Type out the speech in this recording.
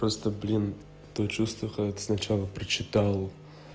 просто блин то чувство когда ты сначала прочитал